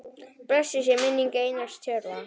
Blessuð sé minning Einars Tjörva.